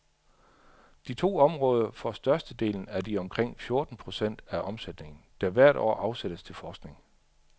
De to områder får størstedelen af de omkring fjorten procent af omsætningen, der hvert år afsættes til forskning.